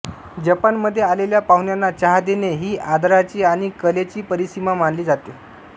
जपानमध्ये आलेल्या पाहुण्यांना चहा देणे ही आदराची आणि कलेची परिसीमा मानली जातें